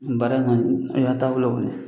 Nin baara in kɔni ni y'a taabolo kɔni ye.